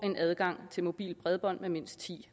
adgang til et mobilt bredbånd med mindst ti